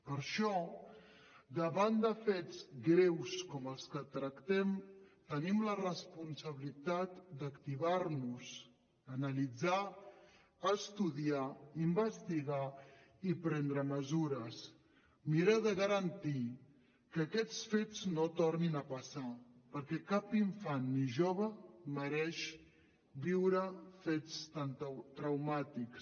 per això davant de fets greus com els que tractem tenim la responsabilitat d’activar nos analitzar estudiar investigar i prendre mesures mirar de garantir que aquests fets no tornin a passar perquè cap infant ni jove mereix viure fets tan traumàtics